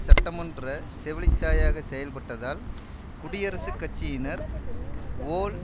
சட்டமன்ற செவிலித்தாயாக செயல்பட்டதால் குடியரசுக் கட்சியினர் வோல்